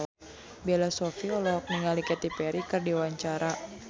Bella Shofie olohok ningali Katy Perry keur diwawancara